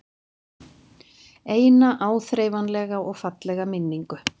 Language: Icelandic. Eina áþreifanlega og fallega minningu.